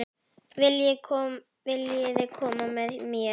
Viljiði koma með mér?